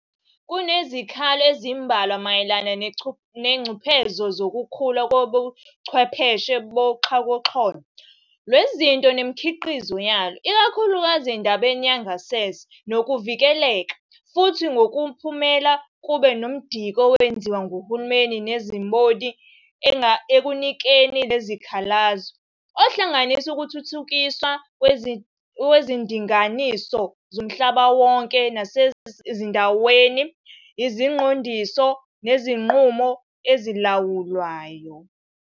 Kunezikhalo ezimbalwa mayelana nezingcuphezo zokukhula kwezobuchwepheshe boxhakaxholo lwezinto nemikhiqizo yalo, ikakhulukazi endabeni yengasese nokuvikeleka, futhi ngokomphumela, kube nomdiki owenziwa ngohulumeni nezimboni ekunakeni lezikhalazo, ohlanganisa ukuthuthukiswa kwezindinganiso zomhlabawonke nezasendaweni, iziqondiso, nezinqumo ezilawulayo.